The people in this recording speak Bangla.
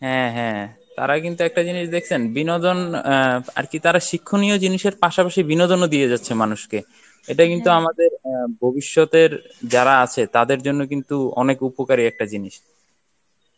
হ্যাঁ হ্যাঁ তারা কিন্তু একটা জিনিস দেখছেন বিনোদন আহ আর কি তারা শিক্ষণীয় জিনিসের পাশাপাশি তারা বিনোদনও দিয়ে যাচ্ছে মানুষকে এটা আমাদের আহ ভবিষ্যতের যারা আছে তাদের জন্য কিন্তু অনেক উপকারী একটা জিনিস.